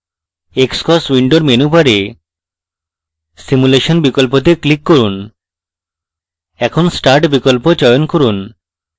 xcos window menu বারে simulation বিকল্পতে click করুন in start বিকল্প চয়ন করুন